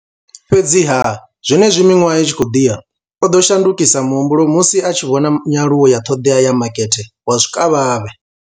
Fhedziha, zwenezwi miṅwaha i tshi khou ḓi ya, o ḓo shandukisa muhumbulo musi a tshi vhona nyaluwo ya ṱhoḓea ya makete wa zwikavhavhe.